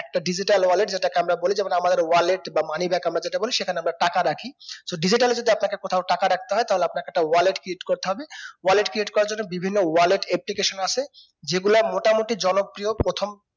একটা digital wallet যেটাকে আমরা বলি যেমন আমাদের wallet বা money bag আমরা যেটা বলি সেখানে আমরা টাকা রাখি so digital যদি আপনাকে কোথাও টাকা রাখতে হয় তাহলে আপনাকে wallet create করতে হবে wallet create করার জন্য বিভিন্ন wallet application ও আসে যেগুলা মোটামুটি জনপ্রিয় প্রথম